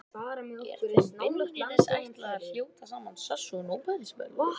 Er þeim beinlínis ætlað að hljóta sama sess og Nóbelsverðlaunin.